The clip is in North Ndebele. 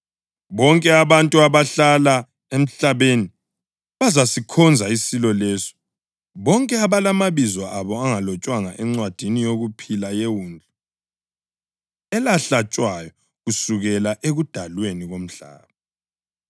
Bonke abantu abahlala emhlabeni bazasikhonza isilo leso, bonke abalamabizo abo angalotshwanga encwadini yokuphila yeWundlu elahlatshwayo kusukela ekudalweni komhlaba.